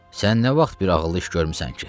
Sən nə vaxt bir ağıllı iş görmüsən ki?